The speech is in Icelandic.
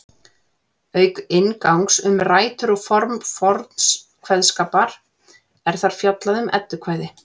Auk inngangs um rætur og form forns kveðskapar er þar fjallað um eddukvæði.